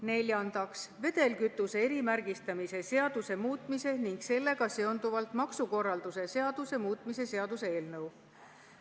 Neljandaks, vedelkütuse erimärgistamise seaduse muutmise ning sellega seonduvalt maksukorralduse seaduse muutmise seaduse eelnõu.